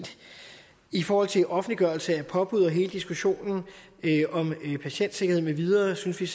i forhold til offentliggørelse af påbud og hele diskussionen om patientsikkerhed med videre synes vi